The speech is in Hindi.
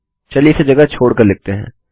चलिए इसे जगह छोड़ कर लिखते हैं